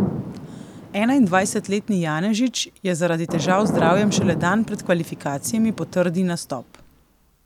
Enaindvajsetletni Janežič je zaradi težav z zdravjem šele dan pred kvalifikacijami potrdi nastop.